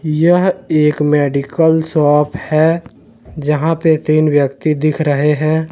यह एक medical shop है जहां पे तीन व्यक्ति दिख रहे हैं।